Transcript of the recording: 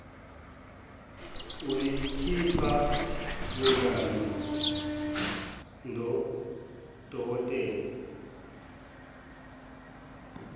ulikhipha bonana dnodokotela